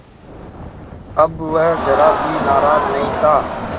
अब वह ज़रा भी नाराज़ नहीं था